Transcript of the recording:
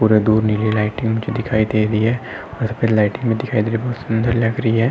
थोड़े दूर नीली लाइटिंग दिखाई दे रही है और उसपे लाइटिंग भी दिखाई दे रही है। बहोत सुंदर लग रही है।